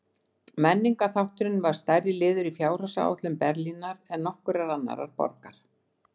Menningarþátturinn var stærri liður í fjárhagsáætlun Berlínar en nokkurrar annarrar borgar.